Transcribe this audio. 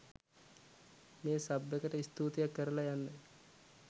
මේ සබ් එකට ස්තූතියක් කරලා යන්න